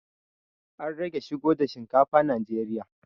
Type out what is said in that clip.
An rage shigo da shinkafa najeriya